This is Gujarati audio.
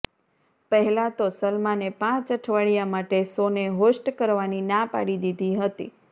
પહેલા તો સલમાને પાંચ અઠવાડિયા માટે શોને હોસ્ટ કરવાની ના પાડી દીધી હતી